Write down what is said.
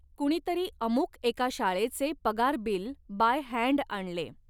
कुणीतरी अमुक एका शाळेचे पगार बिल बाय हॅण्ड आणले.